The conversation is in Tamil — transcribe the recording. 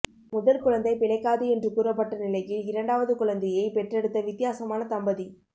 முதல் குழந்தை பிழைக்காது என்று கூறப்பட்ட நிலையில் இரண்டாவது குழந்தையைப் பெற்றெடுத்த வித்தியாசமான தம்பதி